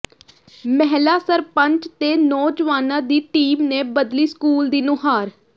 ਮਹਿਲਾ ਸਰਪੰਚ ਤੇ ਨੌਜਵਾਨਾਂ ਦੀ ਟੀਮ ਨੇ ਬਦਲੀ ਸਕੂਲ ਦੀ ਨੁਹਾਰ